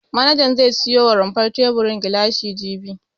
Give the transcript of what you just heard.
Manajan zai siyo wa rumfar teburin gilashi jibi.